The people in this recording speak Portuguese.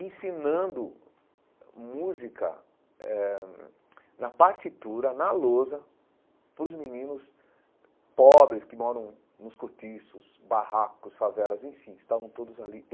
ensinando música eh na partitura, na lousa, para os meninos pobres que moram nos cortiços, barracos, favelas, enfim, estavam todos ali.